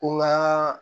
Ko n ka